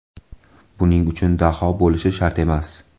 Buning uchun daho bo‘lishi shart emas.